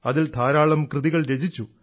അതിൽ ധാരാളം കൃതികൾ രചിച്ചു